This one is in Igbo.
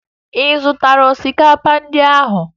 Ị zụtara osikapa ndịa n'ahịa?